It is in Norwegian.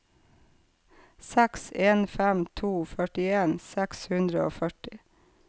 seks en fem to førtien seks hundre og førti